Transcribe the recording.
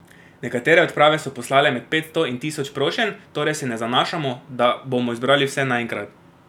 Nekatere odprave so poslale med petsto in tisoč prošenj, torej se ne zanašamo, da bomo zbrali vse naenkrat.